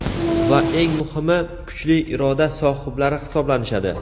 va eng muhimi kuchli iroda sohiblari hisoblanishadi.